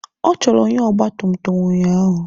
Ọ chọrọ onye ọgba tum tum ụnyaahụ.